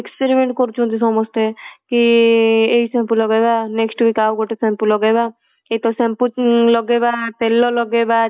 experiment କରୁଛନ୍ତି ସମସ୍ତେ କି ଏଇ ସବୁ shampoo ଲଗେଇବା next week ଆଉ ଗୋଟେ shampoo ଲଗେଇବା କିନ୍ତୁ shampoo ଲଗେଇବା ତେଲ ଲଗେଇବା